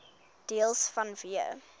deels vanweë